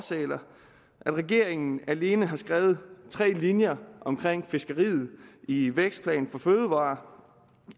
at regeringen alene har skrevet tre linjer om fiskeriet i vækstplan for fødevarer